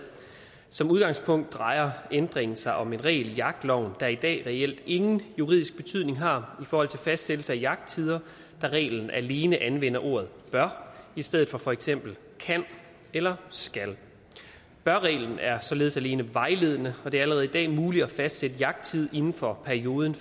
som udgangspunkt drejer ændringen sig om en regel i jagtloven der i dag reelt ingen juridisk betydning har forhold til fastsættelse af jagttider da reglen alene anvender ordet bør i stedet for for eksempel kan eller skal bør reglen er således alene vejledende og det er allerede i dag muligt at fastsætte jagttid inden for perioden